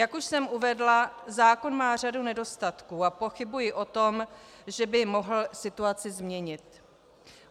Jak už jsem uvedla, zákon má řadu nedostatků a pochybuji o tom, že by mohl situaci změnit.